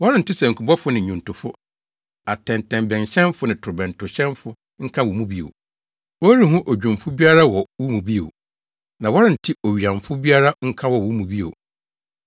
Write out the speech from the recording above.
Wɔrente sankubɔfo ne nnwontofo, atɛntɛbɛnhyɛnfo ne torobɛntohyɛnfo nka wɔ mu bio. Wɔrenhu odwumfo biara wɔ wo mu bio. Na wɔrente owiyamfo biara nka wɔ wo mu bio.